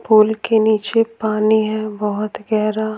Pool के नीचे पानी है बहुत गहरा।